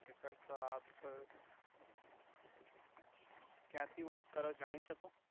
okay sir તો આપ ક્યાથી વાત કરો જણી સકુ